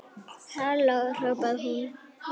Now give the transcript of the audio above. Halló hrópaði hún.